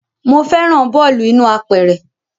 Mo fẹ́ràn bọ́ọ̀lù inú apẹ̀rẹ̀